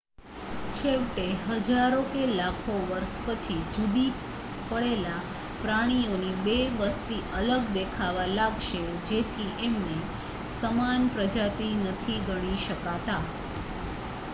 છેવટે હજારો કે લાખો વર્ષ પછી જુદી પડેલા પ્રાણીઓની બે વસ્તી અલગ દેખાવા લાગશે જેથી એમને સમાન પ્રજાતિ નથી ગણી શકતા